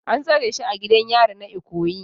An tsare shi a gidan yari na Ikoyi